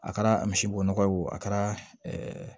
A kɛra misibo nɔgɔ a kɛra